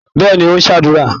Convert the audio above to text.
Bẹ́ẹ̀ni, ó ń ṣàdúrà.